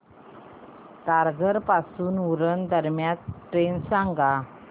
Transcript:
तारघर पासून उरण दरम्यान ट्रेन सांगा